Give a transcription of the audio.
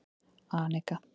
Anika